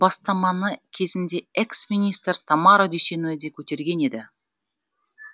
негізіген бұл бастаманы кезінде экс министр тамара дүйсеновіде көтерген еді